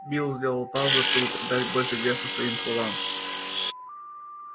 билл сделал паузу чтобы придать больше веса своим словам